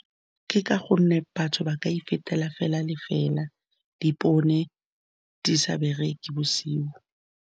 Ke ka gonne batho ba ka ifetela fela le fela, dipone di sa bereke bosigo.